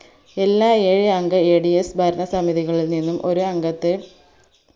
എല്ലാ ഏഴ് അംഗ ADS ഭരണസമിതികളിൽ നിന്നും ഒരു അംഗത്തെ